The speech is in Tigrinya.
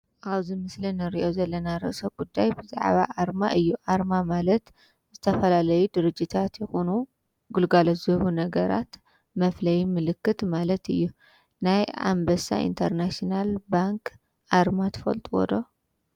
ኣብዚ ምስሊ ንርእዮ ዘለና ርእሰ ጉዳይ ብዛዓባ ኣርማ እዩ፡፡ ኣርማ ማለት ዝተፈላለዩ ድርጅታት ይኹኑ ግልጋሎት ዝህቡ ነገራት መፍለይ ምልክት ማለት እዩ፡፡ ናይ ኣንበሳ ኢንተርናሽናል ባንኪ ኣርማ ትፈልጥዎ ዶ?